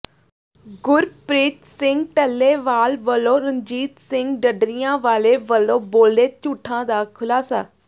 ਗੁਰਪ੍ਰੀਤ ਸਿੰਘ ਟੱਲੇਵਾਲ ਵੱਲੋਂ ਰਣਜੀਤ ਸਿੰਘ ਢੱਡਰੀਆਂ ਵਾਲੇ ਵੱਲੋਂ ਬੋਲੇ ਝੂਠਾਂ ਦਾ ਖੁਲਾਸਾ